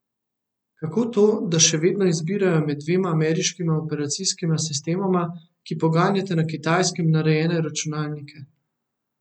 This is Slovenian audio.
Kako to, da še vedno izbirajo med dvema ameriškima operacijskima sistemoma, ki poganjata na Kitajskem narejene računalnike?